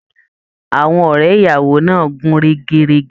Àwọn ọrẹ ìyàwó náà n gún régérégé